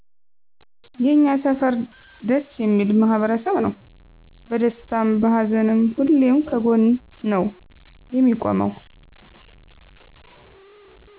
የኛ ሰፈር ደስ የሚል ማህበረሰብ ነው በደስታም በሀዘንም ሁሌም ከጎን ነው የሚቆመው